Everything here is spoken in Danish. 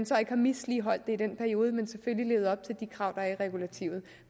så ikke har misligholdt det i den periode men selvfølgelig levet op til de krav der er i regulativet